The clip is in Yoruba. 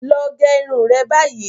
Lọ gẹ irun re báyìí!